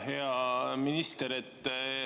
Hea minister!